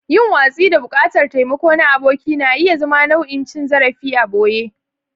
Yin watsi da buƙatar taimako na aboki na iya zama nau'in cin zarafi a ɓoye.